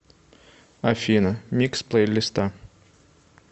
афина микс плейлиста